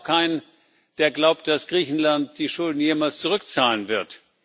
Ich kenne auch keinen, der glaubt, dass Griechenland die Schulden jemals zurückzahlen wird.